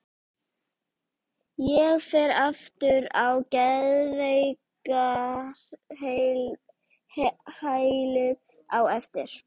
Ég fer aftur á geðveikrahælið á eftir.